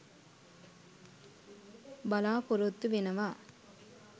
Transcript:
බලාපොරොත්තු වෙනවා.